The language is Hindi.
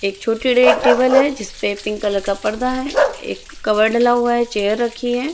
एक छोटे एक टेबल है जिसपे पिंक कलर का पर्दा है एक कवर डला हुआ है चेयर रखी है।